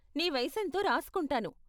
నీ వయసెంతో రాసుకుంటాను.